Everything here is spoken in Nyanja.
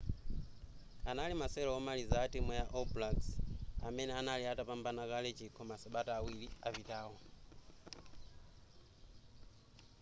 anali masewero omaliza a timu ya all blacks amene anali atapambana kale chikho masabata awiri apitawo